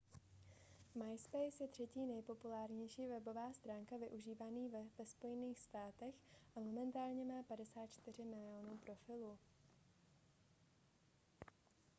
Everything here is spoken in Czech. myspace je třetí nejpopulárnější webová stránka využívaná ve spojených státech a momentálně má 54 milionů profilů